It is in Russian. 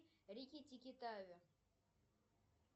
рикки тикки тави